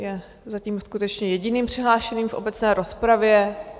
Je zatím skutečně jediným přihlášeným v obecné rozpravě.